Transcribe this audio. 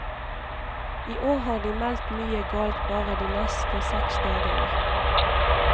I år har de meldt mye galt bare de neste seks dagene.